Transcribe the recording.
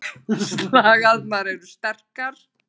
Slagæðarnar eru sterkastar.